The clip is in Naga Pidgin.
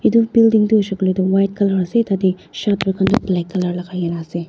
etu building toh hoisey koiley toh white colour ase tatey shatter toh black colour lagai kena ase.